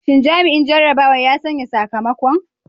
Shin jami'in jarrabawa ya sanya sakamakon?